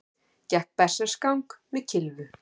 Gekk berserksgang með kylfu